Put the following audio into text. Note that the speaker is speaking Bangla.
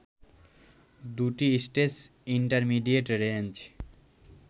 দুটি স্টেজ ইন্টারমিডিয়েট রেঞ্জ